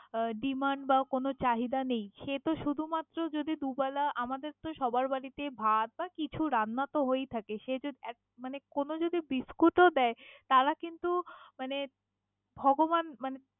আহ demand বা কোনও চাহিদা নেই, সেতো শুধু মাত্র যদি দু বেলা আমাদের তো সবার বাড়িতে ভাত বা কিছু রান্না তো হয়েই থাকে সে জ এক কোনো যদি বিস্কুট ও দেয় তারা কিন্তু মানে ভগবান মানে।